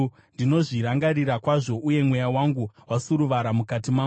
Ndinozvirangarira kwazvo, uye mweya wangu wasuruvara mukati mangu.